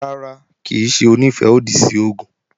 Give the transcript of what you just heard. Rárá, kì í ṣe Onífẹ́-òdì sí oògùn